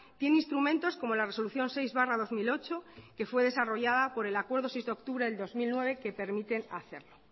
tiene instrumentos como la resolución seis barra dos mil ocho que fue desarrollada por el acuerdo seis de octubre de dos mil nueve que permiten hacerlo